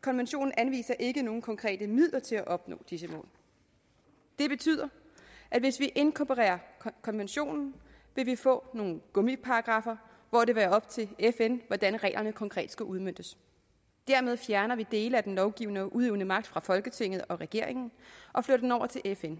konventionen anviser ikke nogen konkrete midler til at opnå disse mål det betyder at hvis vi inkorporerer konventionen vil vi få nogle gummiparagraffer hvor det vil være op til fn hvordan reglerne konkret skal udmøntes dermed fjerner vi dele af den lovgivende og udøvende magt fra folketinget og regeringen og flytter den over til fn